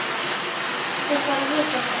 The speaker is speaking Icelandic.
Sættu þig bara við þetta!